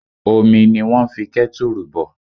Omi ni wón ń fi kẹ́tùrù bọ̀